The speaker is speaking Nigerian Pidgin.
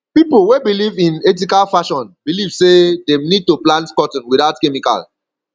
pipo wey belive in ethical fashion believe sey dem need to plant cotton without chemical